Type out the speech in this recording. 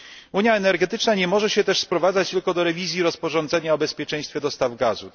Unia energetyczna nie może się też sprowadzać tylko do rewizji rozporządzenia o bezpieczeństwie dostaw gazu.